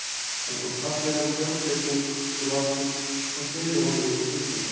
Hann tók fallegan sjálfblekung úr vasanum og sneri honum milli fingra sér.